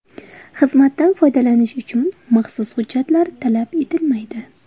Xizmatdan foydalanish uchun maxsus hujjatlar talab etilmaydi.